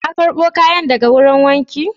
Ka karbo kayan daga wajen wanki